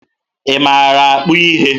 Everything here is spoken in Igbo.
Ị maara akpụ ihe?